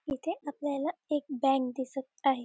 इथे आपल्याला एक बँक दिसत आहे.